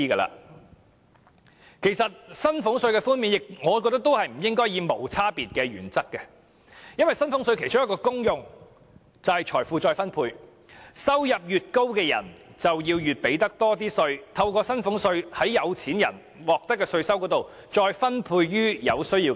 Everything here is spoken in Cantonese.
我覺得寬減薪俸稅不應該採用無區別的原則，因為薪俸稅的其中一種功能是財富再分配，收入越高的人便應繳交更多稅款，讓政府把從富有的人身上獲取的稅收分配予有需要的人。